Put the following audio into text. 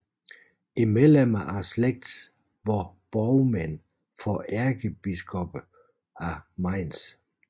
Medlemmer af slægten var borgmænd for ærkebiskopperne af Mainz